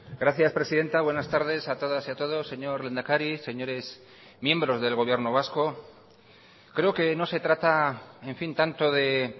gracias presidenta buenas tardes a todas y a todos señor lehendakari señores miembros del gobierno vasco creo que no se trata en fin tanto de